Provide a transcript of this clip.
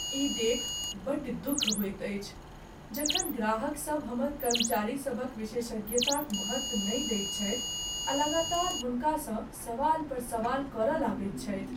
ई देखि बड़ दुख होइत अछि जखन ग्राहकसभ हमर कर्मचारीसभक विशेषज्ञताक महत्व नहि दैत छथि आ लगातार हुनकासँ सवाल पर सवाल करय लगैत छथि।